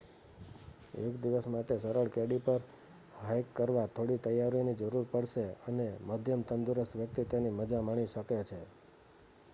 એક દિવસ માટે સરળ કેડી પર હાઇક કરવા થોડી તૈયારીઓની જરૂર પડશે અને મધ્યમ તંદુરસ્ત વ્યક્તિ તેની મજા માણી શકે છે